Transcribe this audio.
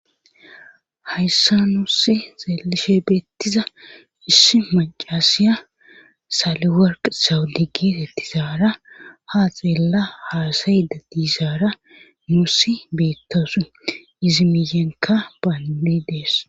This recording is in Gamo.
Hayssa nuussi xeelishe beettiza issi macasiya saaliwarq sawudi gitetizaara ha xeella haasayida diizaara nuusi beettosu izimiyenka baanmi dees.